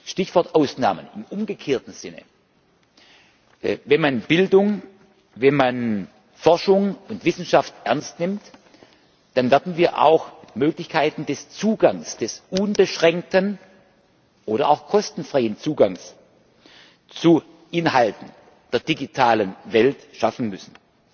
Stichwort Ausnahmen im umgekehrten Sinne Wenn man Bildung, Forschung und Wissenschaft ernst nimmt, dann werden wir auch Möglichkeiten des Zugangs, des unbeschränkten oder auch kostenfreien Zugangs zu Inhalten der digitalen Welt schaffen müssen.